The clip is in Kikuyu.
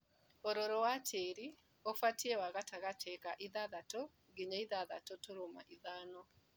ũrũrũ wa tĩri ũbatie wa gatagatĩ ga ithathatũ nginya ithathatũ turuma ithano.